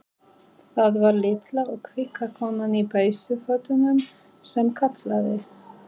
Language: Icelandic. Það var litla og kvika konan í peysufötunum sem kallaði.